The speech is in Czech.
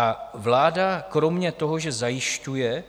A vláda kromě toho, že zajišťuje